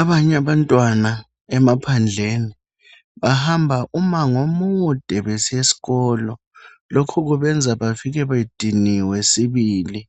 Abanye abantwana emaphandleni, bahamba umango omude besiya esikolo. Lokho kubenza bafike bediniwe sibili.